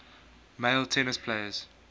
male tennis players